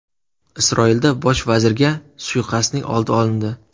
Isroilda bosh vazirga suiqasdning oldi olindi.